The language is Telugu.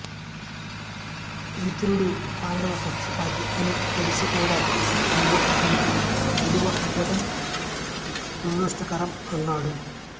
విదురుడు పాండవ పక్షపాతి అని తెలిసి కూడా నీవు అతనికి విలువ ఇవ్వడం దురదృష్టకరం అన్నాడు